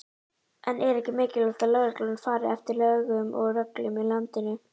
En er ekki mikilvægt að lögreglan fari eftir lögum og reglum í landinu?